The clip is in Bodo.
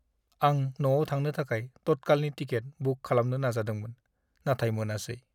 आं न'आव थांनो थाखाय तत्कालनि टिकेट बुक खालामनो नाजादोंमोन, नाथाय मोनासै।